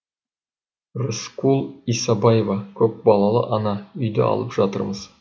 рыскүл исабаева көпбалалы ана үйді алып жатырмыз